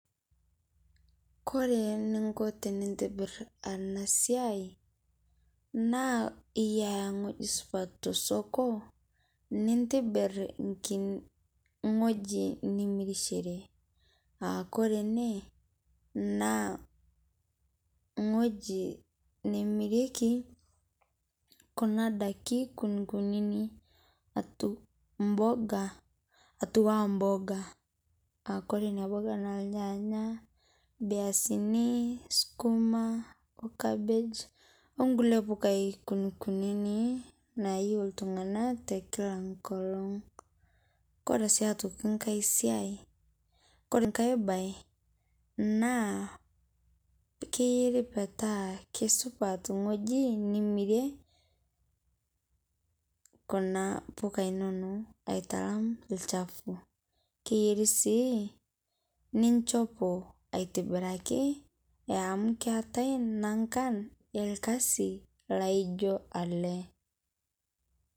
Kore niikoo tinitibiir ana siai naa iyaa ng'oji supat to sokoo cs] nitibiir kinii ng'oji nimirishore. Aa kore ene naa ng'oji nemirieke kuna ndaaki kunikuni atu mboga, atua mboga aa kore enia mboga naa lnyanya, mbiasin , sukuma okabeej onkulee mbukai kunikuni naiyeu ltung'ana te kila nkoolong. Kore sii aitokii nkaai siai kore nkaai baye naa keyeeri petaa kesupat ng'oji nimirie kuna mbukai enono aitalaam lchafuu. Keyeeri sii nichoopo aitibiraki amu keetai nankaan e lkasi naijoo ale.